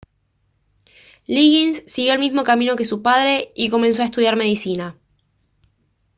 liggins siguió el mismo camino que su padre y comenzó a estudiar medicina